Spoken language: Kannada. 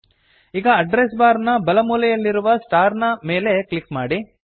ಈಗ ಅಡ್ರೆಸ್ ಬಾರ್ ನ ಬಲ ಮೂಲೆಯಲ್ಲಿರುವ ಸ್ಟಾರ್ ನ ಮೇಲೆ ಕ್ಲಿಕ್ ಮಾಡಿ